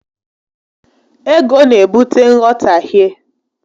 Ego n'ebute nghọtahie